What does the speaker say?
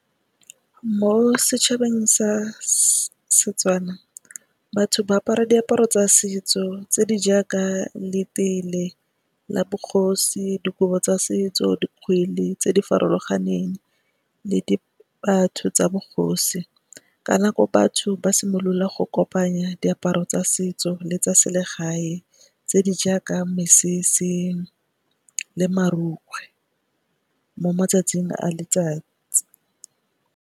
Mo setšhabeng sa setswana batho ba apara diaparo tsa setso tse di jaaka, le tele la bogosi, dikobo tsa setso, dikgwele tse di farologaneng le di tsa bogosi. Ka nako batho ba simolola go kopanya diaparo tsa setso le tsa selegae tse di jaaka mesese le marukgwe mo matsatsing a letsatsi.